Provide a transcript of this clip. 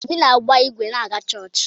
Obi na-agba ịgwe na-aga chọọchị.